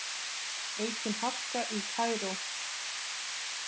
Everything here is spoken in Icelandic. Aukin harka í Kaíró